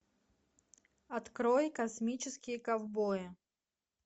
открой космические ковбои